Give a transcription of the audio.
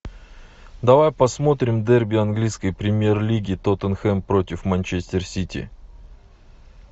давай посмотрим дерби английской премьер лиги тоттенхэм против манчестер сити